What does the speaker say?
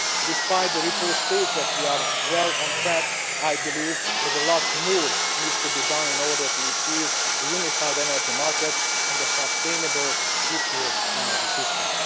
Despite the report stating that we are well on track, I believe that a lot more needs to be done in order to achieve a unified energy market and a sustainable, secure energy system.